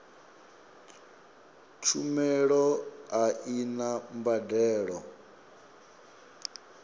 tshumelo a i na mbadelo